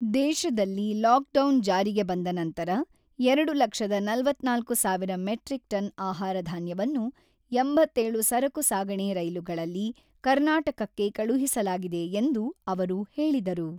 ದೇಶದಲ್ಲಿ ಲಾಕ್‌ಡೌನ್ ಜಾರಿಗೆ ಬಂದ ನಂತರ ಎರಡು ಲಕ್ಷದ ನಲವತ್ತ್ನಾಲ್ಕು ಸಾವಿರ ಮೆಟ್ರಿಕ್ ಟನ್ ಆಹಾರಧಾನ್ಯವನ್ನು ಎಂಬತ್ತೇಳು ಸರಕು ಸಾಗಣೆ ರೈಲುಗಳಲ್ಲಿ ಕರ್ನಾಟಕಕ್ಕೆ ಕಳುಹಿಸಲಾಗಿದೆ ಎಂದು ಅವರು ಹೇಳಿದರು.